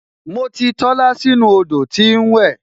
Mo ti Tola sínú odò tí ń wẹ